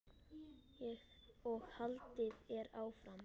og haldið er áfram.